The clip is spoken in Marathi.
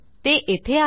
ते येथे आहे